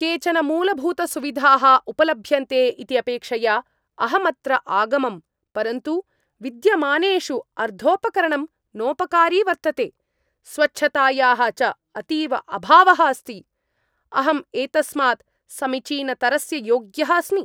केचन मूलभूतसुविधाः उपलभ्यन्ते इति अपेक्षया अहम् अत्र आगमम्, परन्तु विद्यमानेषु अर्धोपकरणं नोपकारि वर्तते, स्वच्छतायाः च अतीव अभावः अस्ति। अहम् एतस्मात् समीचीनतरस्य योग्यः अस्मि।